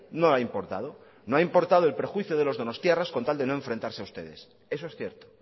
no ha importado no ha importado el perjuicio de los donostiarras con tal de no enfrentarse a ustedes eso es cierto